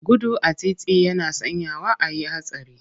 Gudu a titi yana sanyawa a yi hatsari.